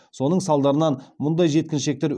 соның салдарынан мұндай жеткіншектер